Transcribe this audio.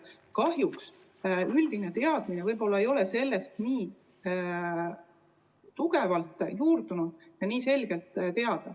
Kahjuks üldine teadmine ei ole võib-olla nii tugevalt juurdunud ja nii selge.